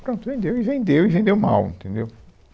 Pronto, vendeu e vendeu e vendeu mal, entendeu?